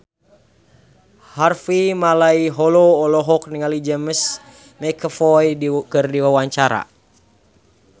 Harvey Malaiholo olohok ningali James McAvoy keur diwawancara